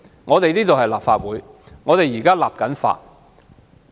我們是立法會，現正進行立法。